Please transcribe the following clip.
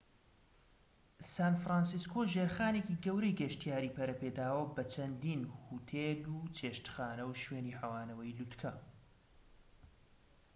سان فرانسیسکۆ ژێرخانێکی گەورەی گەشتیاری پەرەپێداوە بە چەندین هۆتێل و چێشتخانە و شوێنی حەوانەوەی لووتکە